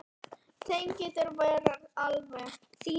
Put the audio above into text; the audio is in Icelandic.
Þeim getur ekki verið alvara.